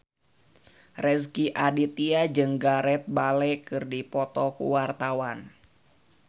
Rezky Aditya jeung Gareth Bale keur dipoto ku wartawan